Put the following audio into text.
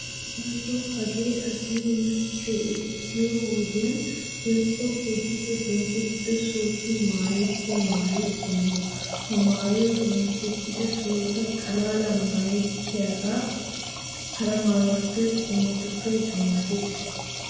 Daroto hagee azinay machchiyo ekkiyo wodiyan woykko keehippe bonchcho sohotun maayettiya maayo qommo. Ha maayoy bonchchettida sohota xalla maayettiyogan hara maayo qommotuppe dummatees.